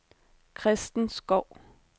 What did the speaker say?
Christen Skov